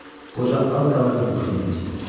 Qoca az qalırdı huşunu itirsin.